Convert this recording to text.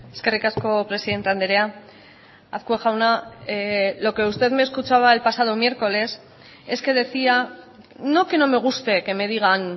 eskerrik asko presidente andrea azkue jauna lo que usted me escuchaba el pasado miércoles es que decía no que no me guste que me digan